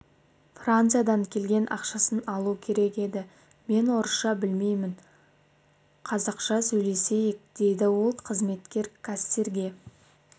франциядан келген ақшасын алу керек еді мен орысша білмеймін қазақша сөйлесейік дейді ол қызметкер кассирге